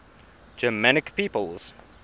germanic peoples